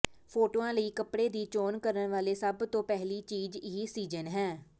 ਫੋਟੋਆਂ ਲਈ ਕੱਪੜੇ ਦੀ ਚੋਣ ਕਰਨ ਵੇਲੇ ਸਭ ਤੋਂ ਪਹਿਲੀ ਚੀਜ਼ ਇਹ ਸੀਜ਼ਨ ਹੈ